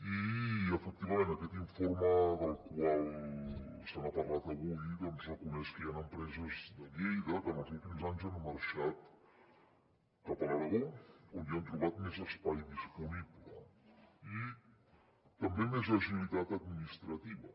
i efectivament aquest informe del qual s’ha parlat avui doncs reconeix que hi han empreses de lleida que en els últims anys han marxat cap a l’aragó on hi han trobat més espai disponible i també més agilitat administrativa